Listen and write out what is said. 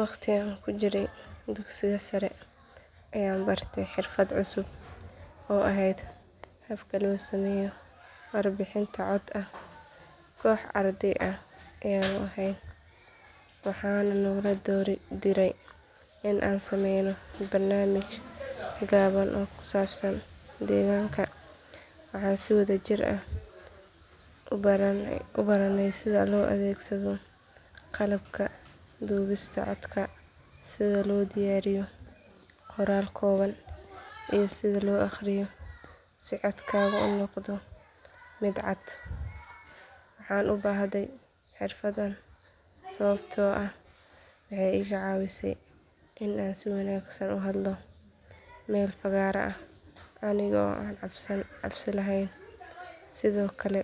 Waqti aan ku jiray dugsiga sare ayaan bartay xirfad cusub oo ahayd habka loo sameeyo warbixino cod ah koox arday ah ayaanu ahayn waxaana naloo diray in aan samayno barnaamij gaaban oo ku saabsan deegaanka waxaan si wadajir ah u baranay sida loo adeegsado qalabka duubista codka sida loo diyaariyo qoraal kooban iyo sida loo akhriyo si codkaagu u noqdo mid cad waxaan u baahday xirfaddan sababtoo ah waxay iga caawisay in aan si wanaagsan ugu hadlo meel fagaare ah aniga oo aan cabsi lahayn sidoo kale